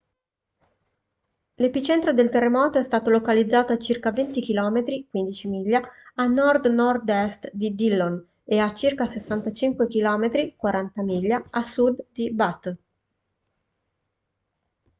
l'epicentro del terremoto è stato localizzato a circa 20 km 15 miglia a nord-nord est di dillon e a circa 65 km 40 miglia a sud di butte